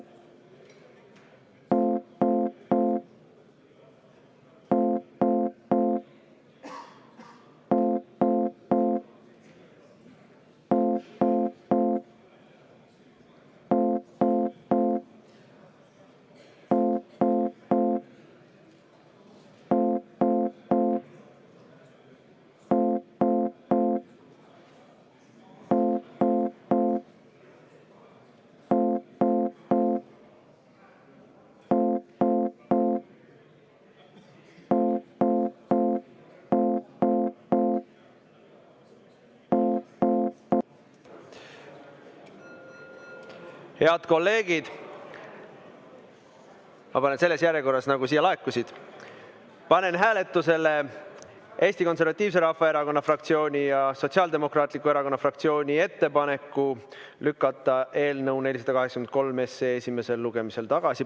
Head kolleegid, selles järjekorras, nagu need siia laekusid, ütlen ma, et panen hääletusele Eesti Konservatiivse Rahvaerakonna fraktsiooni ja Sotsiaaldemokraatliku Erakonna fraktsiooni ettepaneku lükata eelnõu 483 esimesel lugemisel tagasi.